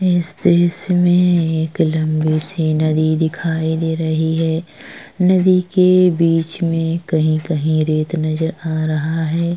इस दॄश्य में एक लंबी सी नदी दिखाई दे रही है नदी के बिच में कही-कही रेत नज़र आ रहा है।